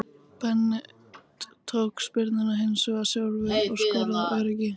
Bent tók spyrnuna hinsvegar sjálfur og skoraði af öryggi.